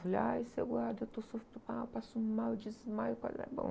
Falei, ai, seu guarda, eu estou sofrendo, eu estou mal, eu passo mal, eu desmaio, bom.